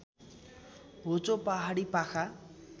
होचो पहाडी पाखा